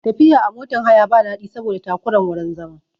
Tafiya a motan haya ba daɗi saboda takuran wurin zama